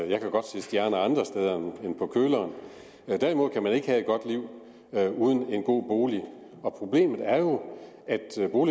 jeg kan godt se stjerner andre steder end på køleren men derimod kan man ikke have et godt liv uden en god bolig og problemet er jo at